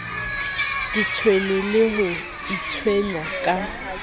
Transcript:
itshwenye le ho itshwenya ka